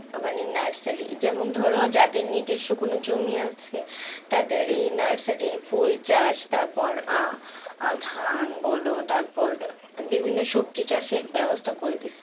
মানে নার্সারি যেমন ধর যাদের নিজস্ব কোন জমি আছে, তাদের এই নার্সারি ফুল চাষ তারপর আহ আহ ধান বল তারপর বিভিন্ন সবজি চাষের ব্যবস্থা করে দিচ্ছে